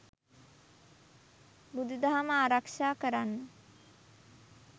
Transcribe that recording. බුදුදහම ආරක්‍ෂා කරන්න